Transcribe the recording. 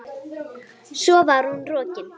Svo var hún rokin.